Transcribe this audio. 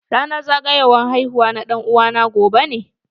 Ranar zagowar haihuwa na ɗan'uwa na gobe ne.